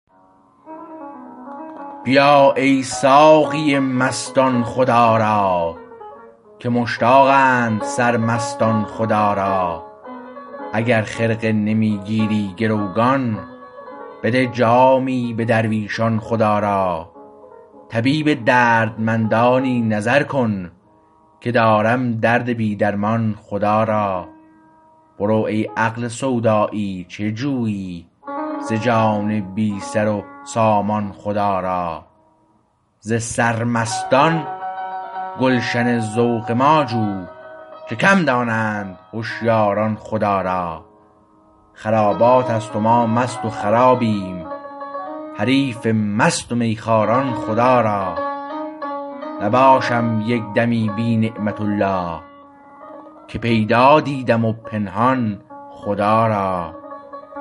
بیا ای ساقی مستان خدا را که مشتاقند سر مستان خدا را اگر خرقه نمی گیری گروگان بده جامی به درویشان خدا را طبیب دردمندانی نظر کن که دارم درد بی درمان خدا را برو ای عقل سودایی چه جویی ز جان بی سر و سامان خدا را ز سر مستان گلشن ذوق ما جو که کم دانند هشیاران خدا را خراباتست و ما مست و خرابیم حریف مست می خواران خدا را نباشم یک دمی بی نعمت الله که پیدا دیدم و پنهان خدا را